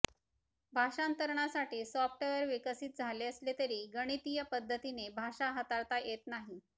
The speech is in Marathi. भाषांतरणासाठी सॉफ्टवेअर विकसित झाले असले तरी गणितीय पद्धतीने भाषा हाताळता येत नाही